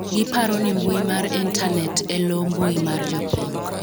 giparo ni mbui mar intanet e loo mbui mar jopiny